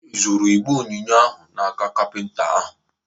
Ị zụtara igbe onyinye ahụ n'aka kapinta ahụ?